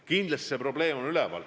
Kindlasti see probleem on üleval.